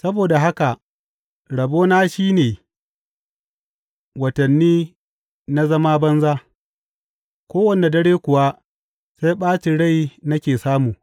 Saboda haka rabona shi ne watanni na zama banza, kowane dare kuwa sai ɓacin rai nake samu.